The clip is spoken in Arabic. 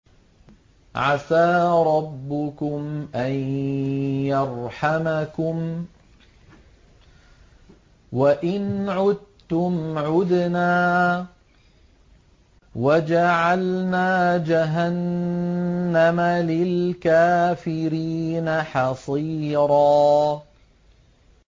عَسَىٰ رَبُّكُمْ أَن يَرْحَمَكُمْ ۚ وَإِنْ عُدتُّمْ عُدْنَا ۘ وَجَعَلْنَا جَهَنَّمَ لِلْكَافِرِينَ حَصِيرًا